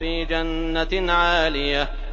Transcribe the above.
فِي جَنَّةٍ عَالِيَةٍ